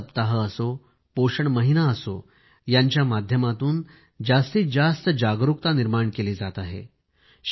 पोषण सप्ताह असो पोषण महिना असो यांच्या माध्यमातून जास्तीत जास्त जागरूकता निर्माण केली जात आहे